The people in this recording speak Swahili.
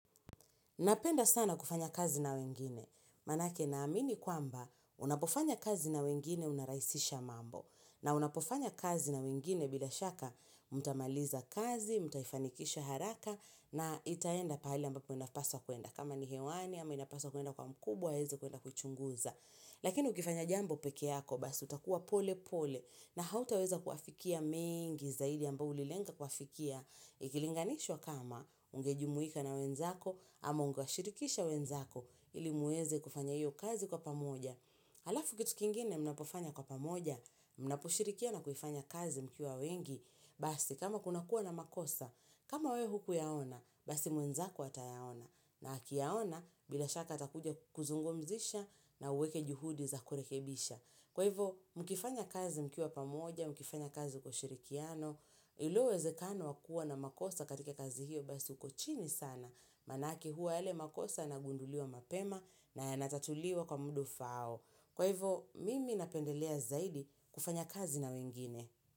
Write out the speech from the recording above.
Napenda sana kufanya kazi na wengine, manake na amini kwamba unapofanya kazi na wengine unarahisisha mambo, na unapofanya kazi na wengine bila shaka mtamaliza kazi, mtaifani kisha haraka, na itaenda pahali ambapo inapaswa kuenda, kama ni hewani amba ina paswa kuenda kwa mkubwa, aweze kuenda kuchunguza. Lakini ukifanya jambo pekee yako, basi utakuwa pole pole na hautaweza kuyafikia mengi zaidi ambayo ulilenga kuyafikia. Ikilinganishwa kama ungejumuika na wenzako ama ungewashirikisha wenzako ilimueze kufanya hiyo kazi kwa pamoja. Halafu kitu kingine mnapofanya kwa pamoja, mnaposhirikiana kuifanya kazi mkiwa wengi, basi kama kunakua na makosa, kama we hukuyaona, basi mwenzako atayaona na aki yaona bila shaka atakuja kukuzungumzisha na uweke juhudi za kurekebisha. Kwa hivo, mkifanya kazi mkiwa pamoja, mkifanya kazi kwa ushirikiano, ile uwezekano wakua na makosa katika kazi hiyo basi ukochini sana. Manake huwa yale makosa yanagunduliwa mapema na yanatatuliwa kwa muda ufaao. Kwa hivo, mimi napendelea zaidi kufanya kazi na wengine.